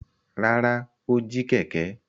Rárá, ó jí kẹ̀kẹ́.